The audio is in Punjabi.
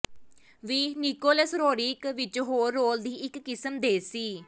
ਵੀ ਨਿਕੋਲਸ ਰੋਰਿਕ ਵਿੱਚ ਹੋਰ ਰੋਲ ਦੀ ਇੱਕ ਕਿਸਮ ਦੇ ਸੀ